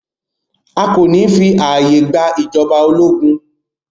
A kò ní fí ààyè gba ìjọba ológun!